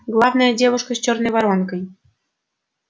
главное девушка с чёрной воронкой